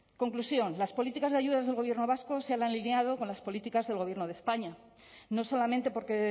conclusión las políticas de ayudas del gobierno vasco se han alineado con las políticas del gobierno de españa no solamente porque